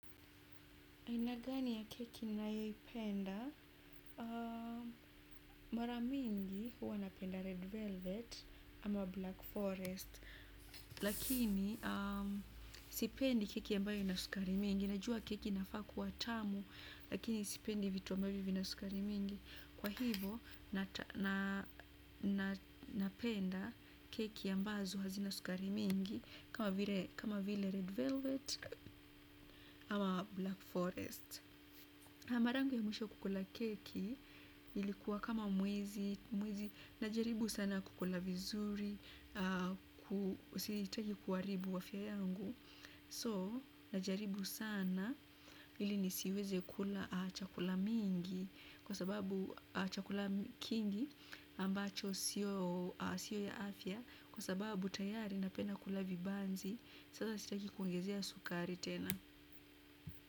Aina gani ya keki nayoipenda, mara mingi huwa napenda red velvet ama black forest, lakini sipendi keki ambayo inasukari mingi, najua keki inafaa kuwa tamu, lakini sipendi vitu ambayo vina sukari mingi, kwa hivo napenda keki ambazo hazina sukari mingi kama vile red velvet ama black forest mara yangu ya mwisho kukula keki, ilikuwa kama mwezi, na jaribu sana kukula vizuri, sitaki kuharibu afya yangu. So, najaribu sana, ili nisiweze kula chakula mingi, kwa sababu chakula kingi, ambacho sio ya afya, kwa sababu tayari napenda kula vibanzi, sasa sitaki kuongezea sukari tena.